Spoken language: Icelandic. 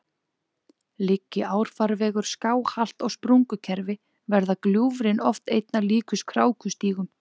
Liggi árfarvegur skáhallt á sprungukerfi, verða gljúfrin oft einna líkust krákustígum.